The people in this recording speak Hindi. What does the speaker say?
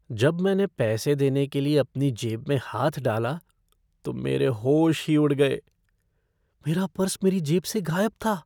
जब मैंने पैसे देने के लिए अपनी जेब में हाथ डाला, तो मेरे होश ही उड़ गए। मेरा पर्स मेरी जेब से गायब था!